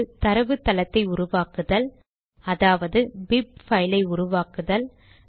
ஒன்று தரவுத்தளத்தை உருவாக்குதல் அதாவது bib பைல் ஐ உருவாக்குதல்